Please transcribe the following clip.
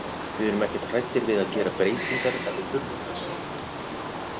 Við erum ekkert hræddir við að gera breytingar ef við þurfum þess.